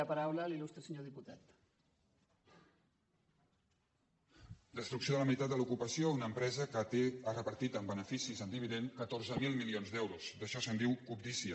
destrucció de la meitat de l’ocupació a una empresa que ha repartit en beneficis en dividend catorze mil mi·lions d’euros d’això se’n diu cobdícia